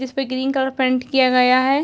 इसपे green colour paint किया गया है।